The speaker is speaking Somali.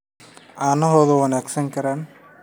caanahooduna wanaagsanaan karaan